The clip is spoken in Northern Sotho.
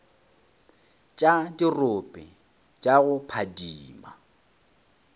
tša dirope tša go phadima